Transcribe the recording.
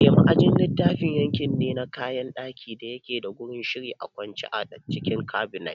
Eh, ma'ajin littafi yanki ne na kayan ɗaki da yake da gurin shiri a kwance a cikin Cabinet